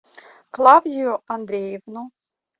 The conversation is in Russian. клавдию андреевну